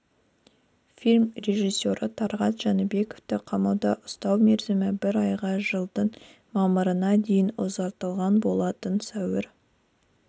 фильм режиссері талғат жәнібековті қамауда ұстау мерзімі бір айға жылдың мамырына дейін ұзартылған болатын сәуір